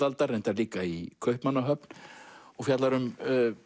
aldar reyndar líka í Kaupmannahöfn og fjallar um